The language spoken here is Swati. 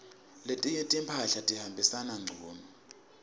letinye timphahla tihambisana ngcunu